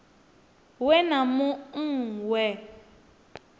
we na mu ṅ we